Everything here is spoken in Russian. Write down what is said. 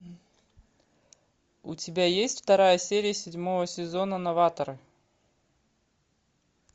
у тебя есть вторая серия седьмого сезона новаторы